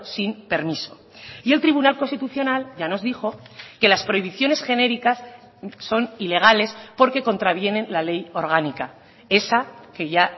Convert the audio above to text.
sin permiso y el tribunal constitucional ya nos dijo que las prohibiciones genéricas son ilegales porque contravienen la ley orgánica esa que ya